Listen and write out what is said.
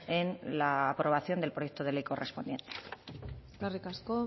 en la aprobación del proyecto de ley correspondiente eskerrik asko